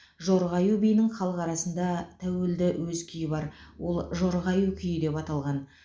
жорға аю биінің халық арасында тәуелді өз күйі бар ол жорға аю күйі деп аталған